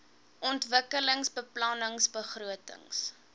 ontwikkelingsbeplanningbegrotings